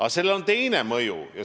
Aga sellel on ka teine mõju.